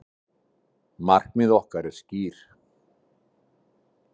Markmið okkar eru skýr